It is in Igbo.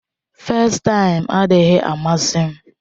festaim adịghị amasị m.